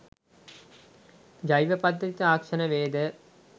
ජෛව පද්ධති තාක්ෂණවේදය